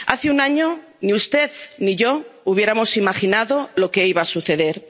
Hace un año ni usted ni yo hubiéramos imaginado lo que iba a suceder.